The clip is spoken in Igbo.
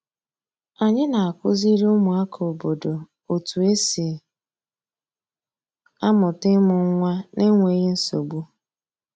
Anyị na-akụziri ụmụaka obodo otu esi amụta ịmụ nwa n’enweghị nsogbu.